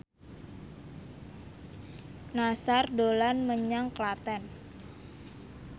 Nassar dolan menyang Klaten